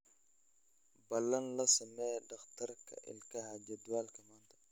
Balan la samee dhakhtarka ilkaha jadwalka maanta